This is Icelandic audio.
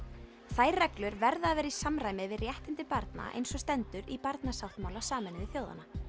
þær reglur verða að vera í samræmi við réttindi barna eins og stendur í barnasáttmála Sameinuðu þjóðanna